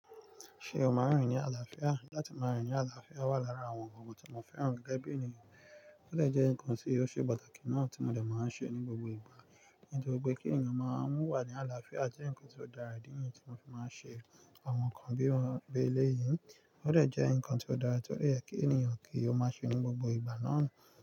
Ṣé o máa rìn ní àlàáfíà? Láti máa rìn ní àlàáfíà wà lára àwọn ohun tí mo fẹ́ràn gẹ́gẹ́ bí ènìyàn. Ó dè jẹ́ nǹkan tí ó ṣe pàtàkì náà tí mo dẹ̀ máa ń ṣe ní gbogbo ìgbà. Nítorí pé kí ènìyàn máa n wà ní àlàáfíà je nnkan ti o dára idí niyen tí mo fi máa ń ṣe àwọn nǹkan bí mo bi eléyìi. Ó dè jẹ́ nǹkan tí ó dára to dẹ ye kí ènìyàn kí ó má ṣe ní gbogbo ìgbà náà.